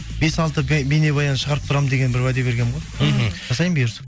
бес алты бейнебаян шығарып тұрамын деген бір уәде бергенмін ғой мхм жасаймын бұйырса